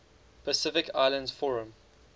pacific islands forum